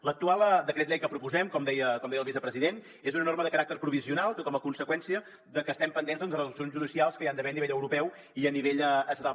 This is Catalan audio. l’actual decret llei que proposem com deia el vicepresident és una norma de caràcter provisional com a conseqüència de que estem pendents de resolucions judicials que hi ha d’haver a nivell europeu i a nivell estatal